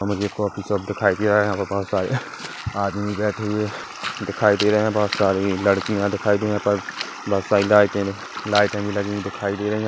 मुझे coffee shop दिखाई दे रहा है यहा पर बहुत सारे आदमी बैठे हुए है दिखाई दे रहे हैं बहुत सारी लड़कियां दिखाई दे रही है .पर बहुत सारी लाइटें लाइट भी लगी हुई दिखाई दे रही है।